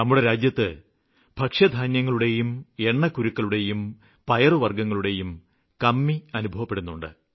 നമ്മുടെ രാജ്യത്ത് ഭക്ഷ്യധാന്യങ്ങളുടെയും എണ്ണക്കുരുക്കളുടെയും പയറുവര്ഗ്ഗങ്ങളുടെയും കമ്മി അനുഭവപ്പെടുന്നുണ്ട്